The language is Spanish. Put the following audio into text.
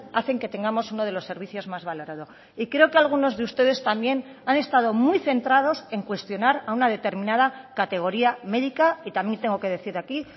hacen que tengamos uno de los servicios más valorado y creo que algunos de ustedes también ha estado muy centrados en cuestionar a una determinada categoría médica y también tengo que decir aquí